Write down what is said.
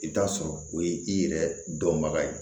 I bɛ t'a sɔrɔ o ye i yɛrɛ dɔnbaga ye